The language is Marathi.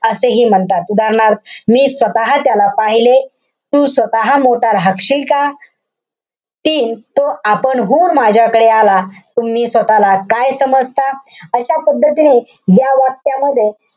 असेही म्हणतात. उदाहरणार्थ मी स्वतः त्याला पाहिले. तू स्वतः मोठा राहशील का? तीन, तो आपणहून माझ्याकडे आला. तुम्ही स्वतःला काय समजता? अशा पद्धतीने या वाक्यामध्ये,